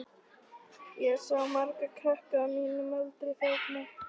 Ég sá marga krakka á mínum aldri þarna.